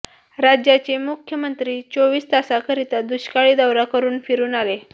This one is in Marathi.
राज्याचे मुख्यमंत्री चोवीस तासाकरिता दुष्काळी दौरा करून फिरून आले